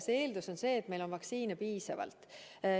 See eeldus on see, et meil on vaktsiine piisavalt.